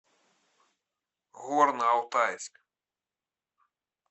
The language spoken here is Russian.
горно алтайск